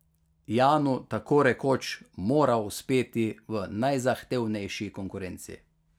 Janu tako rekoč mora uspeti v najzahtevnejši konkurenci.